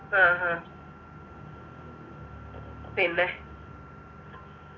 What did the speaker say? ആ ആ പിന്നെ